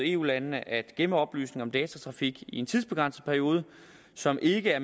eu landene at gemme oplysninger om datatrafik i en tidsbegrænset periode som ikke er